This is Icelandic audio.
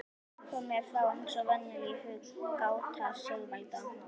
Kom mér þá eins og venjulega í hug gáta Sigvalda